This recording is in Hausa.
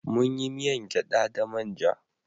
Munyi miyan gyada da manja